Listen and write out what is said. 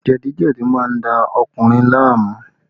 Jẹ̀díjẹ̀dí má ń da ọkùnrin láàmú